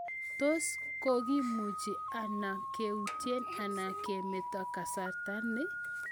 Tos kokimuchi ano keuutie ak kemeto kasarta ni?